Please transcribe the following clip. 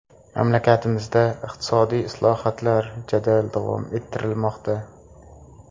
Mamlakatimizda iqtisodiy islohotlar jadal davom ettirilmoqda.